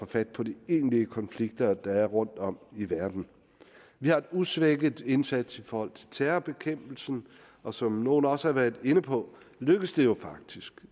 fat på de egentlige konflikter der er rundtom i verden vi har en usvækket indsats i forhold til terrorbekæmpelsen og som nogle også har været inde på lykkes det jo faktisk